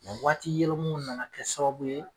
Nga waati yɛlɛmaw nana kɛ sababu ye